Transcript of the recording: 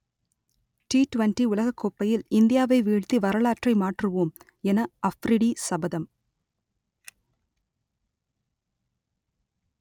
D twenty உலகக்கோப்பையில் இந்தியாவை வீழ்த்தி வரலாற்றை மாற்றுவோம் என அஃப்ரிடி சபதம்